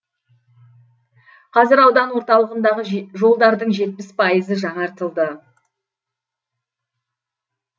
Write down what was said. қазір аудан орталығындағы жолдардың жетпіс пайызы жаңартылды